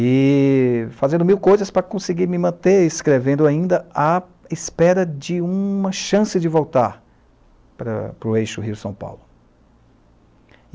E fazendo mil coisas para conseguir me manter, escrevendo ainda à espera de uma chance de voltar para para o eixo Rio São Paulo.